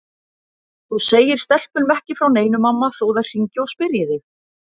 Þú segir stelpunum ekki frá neinu mamma þó þær hringi og spyrji þig.